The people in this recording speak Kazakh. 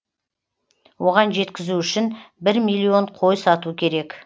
оған жеткізу үшін бір миллион қой сату керек